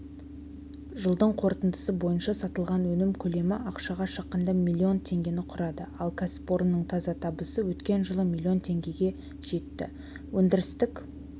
жылдың қорытындысы бойынша сатылған өнім көлемі ақшаға шаққанда млн теңгені құрады ал кәсіпорынның таза табысы өткен жылы млн тенгеге жетті өндірістік